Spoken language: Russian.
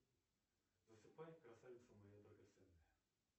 засыпай красавица моя драгоценная